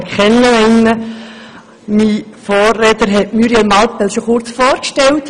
Mein Vorredner hat Muriel Mallepell bereits kurz vorgestellt.